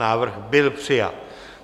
Návrh byl přijat.